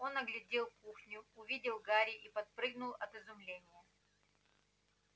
он оглядел кухню увидел гарри и подпрыгнул от изумления